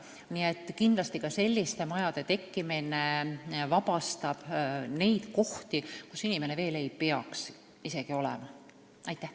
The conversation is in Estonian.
Kindlasti vabastaks ka selliste majade tekkimine kohti seal, kus inimene ei peaks isegi veel olema.